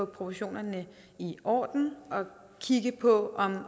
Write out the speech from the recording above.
proportionerne i orden og kigge på